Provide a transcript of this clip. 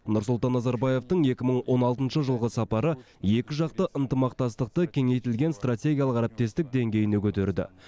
нұрсұлтан назарбаевтың екі мың он алтыншы жылғы сапары екі жақты ынтымақтастықты кеңейтілген стратегиялық әріптестік деңгейіне көтерді